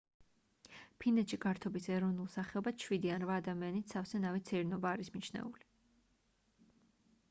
ფინეთში გართობის ეროვნულ სახეობად შვიდი ან რვა ადამიანით სავსე ნავით სეირნობა არის მიჩნეული